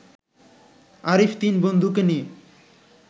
আরিফ তিন বন্ধুকে নিয়ে